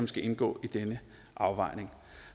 skal indgå i denne afvejning